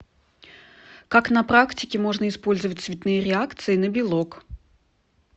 как на практике можно использовать цветные реакции на белок